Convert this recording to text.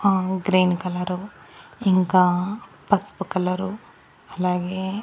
ఆ green colour ఇంకా పస్పు కలరు అలాగే --